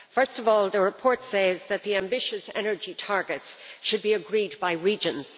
Firstly, the report says that the ambitious energy targets should be agreed by the regions.